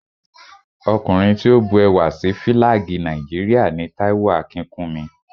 Ọkùnrin tí ó bu ẹwà sí Fílàgì Nàìjíríà ni Táíwò Akínkúnmi